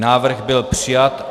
Návrh byl přijat.